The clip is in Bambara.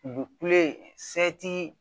U bɛ kule